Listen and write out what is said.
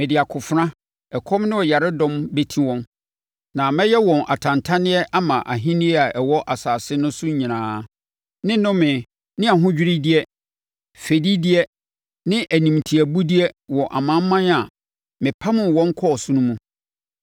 Mede akofena, ɛkɔm ne yaredɔm bɛti wɔn, na mɛyɛ wɔn atantanneɛ ama ahennie a ɛwɔ asase no so nyinaa, ne nnome ne ahodwiredeɛ, fɛdideɛ ne animtiabudeɛ wɔ amanaman a mepamoo wɔn kɔɔ so no mu.